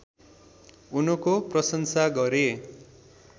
उनको प्रशंसा गरे